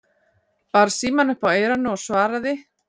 Bar símann upp að eyranu og svaraði